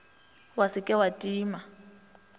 wa se ke wa tima